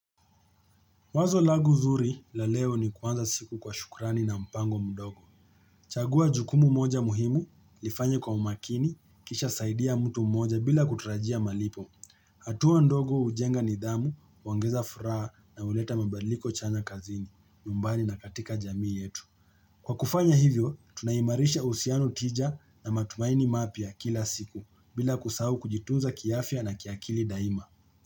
Wazo lagu zuri la leo ni kuanza siku kwa shukrani na mpango mdogo. Chagua jukumu moja muhimu, lifanye kwa umakini, kisha saidia mtu mmoja bila kutrajia malipo. Hatua ndogo ujenga nidhamu, uongeza furaha na uleta mabaliko chana kazini, nyumbani na katika jamii yetu. Kwa kufanya hivyo, tunaimarisha husiano tija na matumaini mapya ya kila siku bila kusau kujitunza kiafya na kiakili daima.